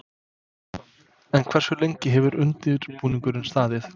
En hversu lengi hefur undirbúningurinn staðið?